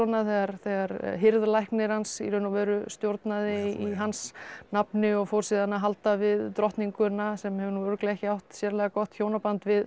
þegar þegar hirðlæknir hans í raun og veru stjórnaði í hans nafni og fór síðan að halda við drottninguna sem hefur nú örugglega ekki átt sérlega gott hjónaband við